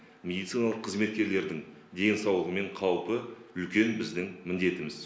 медициналық қызметкерлердің денсаулығы мен қаупі үлкен біздің міндетіміз